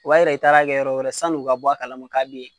O b'a yira i taara kɛ yɔrɔ wɛrɛ ,sanu ka bɔ a kalama k'a be yen.